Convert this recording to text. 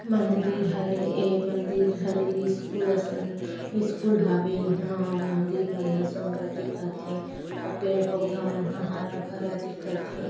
मन्दिर हरे ए ए मन्दिर हरे स्कूल असन स्कूल हवे या ह मन्दिर मन ह सुंदर दिखत हे अऊ पेड़ पौधा मन ह हरा-भरा दिखत हे।